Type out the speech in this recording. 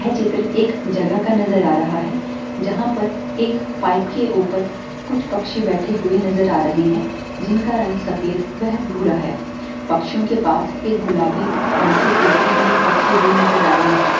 यह चित्र एक जगह का नजर रहा है। जहाँ पर एक पाइप के ऊपर कुछ पक्षी बैठे हुए नजर आ रहे है जिनका रंग सफ़ेद वेह भूरा है पक्षियों के पास एक गुलाबी रंग की टोकरी भी रखी हुई नजर आ रही है।